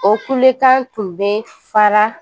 O kulekan tun bɛ fara